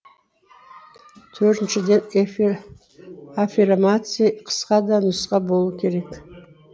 төртіншіден аффирмация қысқа да нұсқа болу керек